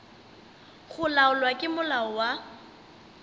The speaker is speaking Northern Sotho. go laolwa ke molao wa